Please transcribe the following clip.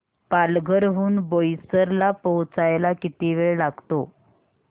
पालघर हून बोईसर ला पोहचायला किती वेळ लागतो